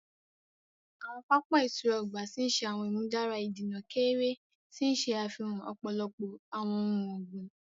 Awọn papa ìtura ọgbà ti ṣe awọn imudara ìdènà keere, ti n ṣe afihan ọpọlọpọ awọn ohùn ọgbin.